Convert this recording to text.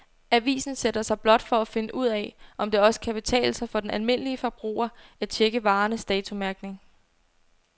Avisen sætter sig blot for at finde ud af, om det også kan betale sig for den almindelige forbruger at checke varernes datomærkning.